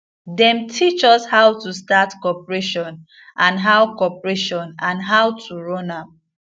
them teach us how to start cooperation and how cooperation and how to run am